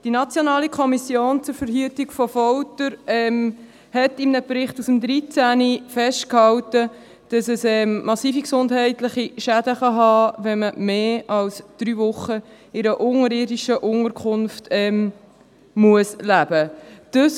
– Die Nationale Kommission zur Verhütung von Folter (NKVF) hielt 2013 in einem Bericht fest, dass es massive gesundheitliche Schäden geben kann, wenn man länger als drei Wochen in einer unterirdischen Unterkunft leben muss;